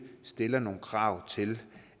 stiller nogle krav til